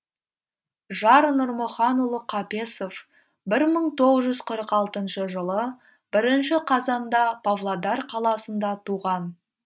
жар нұрмұханұлы қапесов бір мың тоғыз жүз қырық алтыншы жылы бірінші қазанда павлодар қаласында туған